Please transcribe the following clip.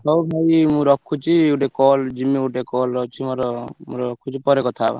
ହଉ ଭାଇ ମୁ ରଖୁଛି ଗୋଟେ call ଯିମି ଗୋଟେ call ଅଛି ମୋର ମୁ ରଖୁଛି ପରେ କଥା ହବା।